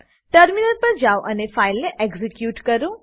terminal પર જાવ અને ફાઈલને એક્ઝીક્યુટ કરો